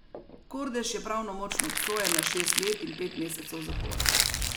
Kordež je pravnomočno obsojen na šest let in pet mesecev zapora.